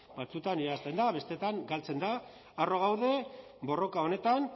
batzuetan irabazten da besteetan galtzen da harro gaude borroka honetan